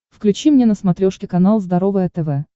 включи мне на смотрешке канал здоровое тв